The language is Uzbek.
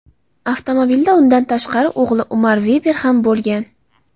Avtomobilda undan tashqari o‘g‘li Umar Veber ham bo‘lgan.